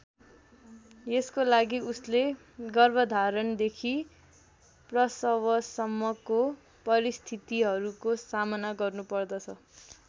यसको लागि उसले गर्भधारणदेखि प्रसवसम्मको परिस्थितिहरूको सामना गर्नुपर्दछ।